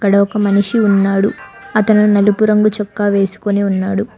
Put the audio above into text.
ఇక్కడ ఒక మనిషి ఉన్నాడు అతను నలుపు రంగు చొక్క వేసుకుని ఉన్నాడు.